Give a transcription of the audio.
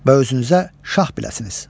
Və özünüzə şah biləsiniz.